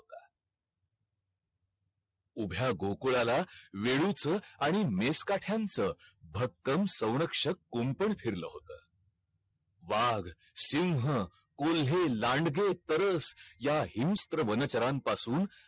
उभ्या गोकुळाला वेळूचे आणि मेस्काठ्यांचं भक्कम संरक्षक कुंपण फेरल होत. वाघ, सिंह, कोल्हे, लांडगे, तरस या हिंस्र वनचरांपासून